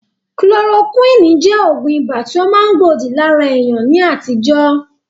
kolorokúwìnì jẹ́ Ògùn ibà tí ó ma gbòdì lára èèyàn ní àtijọ́